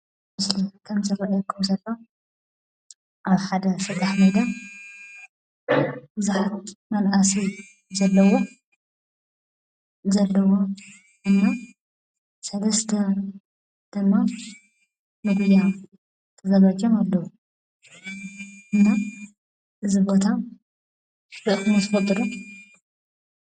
ኣብቲ ምስሊ ከምዝረአየኩም ዘሎ ኣብ ሓደ ሰጣሕ ነገር ብዙሓት መናእሰይ ዘለውዎ እና ሰለስተ ድማ ንጒያ ተዘጋጅዮም ኣለዉ፡፡ እሞ እዚ ቦታ ርኢኹሞ ትፈልጡ ዶ?